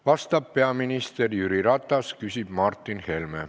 Vastab peaminister Jüri Ratas, küsib Martin Helme.